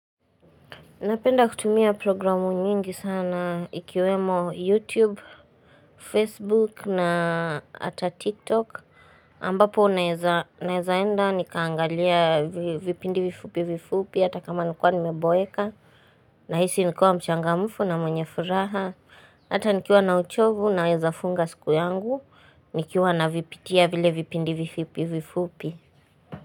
Napenda kutumia programu nyingi sana ikiwemo YouTube, Facebook na ata TikTok. Ambapo naeza enda nikaangalia vipindi vifupi vifupi hata kama nilikuwa nimeboeka. Nahisi nikiwa mchangamufu na mwenye furaha. Hata nikiwa na uchovu naeza funga siku yangu. Nikiwa navipitia vile vipindi vifupi vifupi.